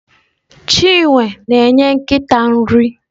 Chinwe na-enye nkịta nri.